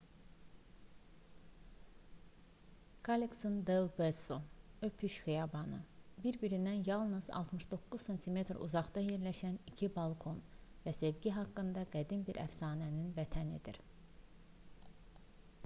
kallexon del beso öpüş xiyabanı bir-birindən yalnız 69 sm uzaqda yerləşən iki balkon və sevgi haqqında qədim bir əfsanənin vətənidir